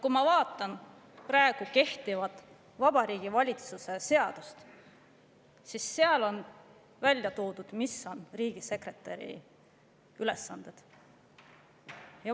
Kui ma vaatan praegu kehtivat Vabariigi Valitsuse seadust, siis seal on välja toodud, mis on riigisekretäri ülesanded.